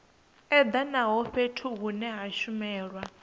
edanaho fhethu hune ha shumelwa